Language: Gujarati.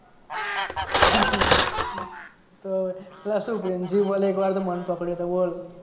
હે અલ્યા શું પ્રિન્સિપલ એ એક વાર તો મને પકડ્યો તો બોલ